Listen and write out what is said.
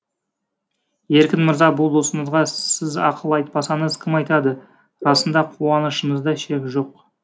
еркін мырза бұл досыңызға сіз ақыл айтпасаңыз кім айтады расында қуанышымызда шек жоқ